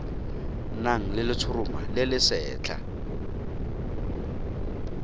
nang le letshoroma le lesetlha